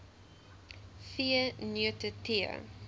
v neute tee